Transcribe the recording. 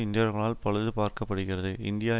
இந்தியர்களால் பழுது பார்க்க படுகிறது இந்தியா